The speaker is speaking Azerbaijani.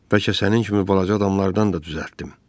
Bəlkə sənin kimi balaca adamlardan da düzəltdim.